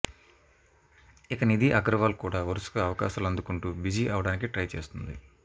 ఇక నిధి అగర్వాల్ కూడా వరుసగా అవకాశాలు అందుకుంటూ బిజీ అవ్వడానికి ట్రై చేస్తుంది